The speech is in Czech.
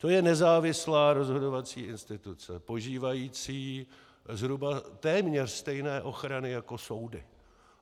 To je nezávislá rozhodovací instituce požívající zhruba téměř stejné ochrany jako soudy.